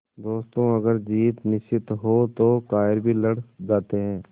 दोस्तों अगर जीत निश्चित हो तो कायर भी लड़ जाते हैं